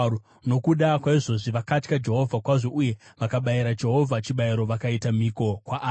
Nokuda kwaizvozvi vakatya Jehovha kwazvo, uye vakabayira Jehovha chibayiro vakaita mhiko kwaari.